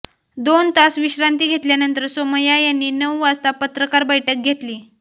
दोन तास विश्रांती घेतल्यानंतर सोमया यांनी नऊ वाजता पत्रकार बैठक घेतली